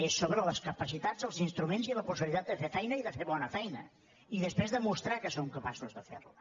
és sobre les capacitats els instruments i la possibilitat de fer feina i de fer bona feina i després demostrar que som capaços de fer la